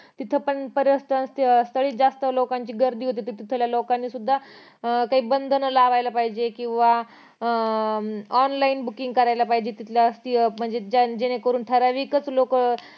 इथं पण पर्यटन स्थळी च जास्त लोकांची गर्दी होते तिथल्या लोकांनी सुद्दा अं काही बंधन लावायला पाहिजे किंवा अं online booking करायला पाहिजे किंवा ठराविक च लोकं